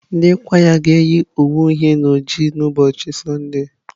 Ndị kwaya anyị ga-eyi uwe uhie na oji n'Sọnde.